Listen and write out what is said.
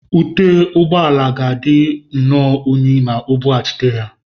Ute ụgbọ ala ga-adị nnọọ unyi ma O bughachite ya.